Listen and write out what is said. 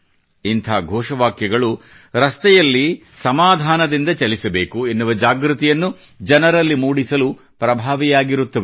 ಇಂಥ ಘೋಷವಾಕ್ಯಗಳು ರಸ್ತೆಗಳಲ್ಲಿ ಸಮಾಧಾನದಿಂದ ಚಲಿಸಬೇಕು ಎನ್ನುವ ಜಾಗೃತಿಯನ್ನು ಜನರಲ್ಲಿ ಮೂಡಿಸಲು ಪ್ರಭಾವಿಯಾಗಿರುತ್ತವೆ